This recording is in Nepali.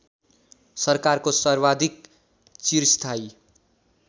सरकारको सर्वाधिक चिरस्थायी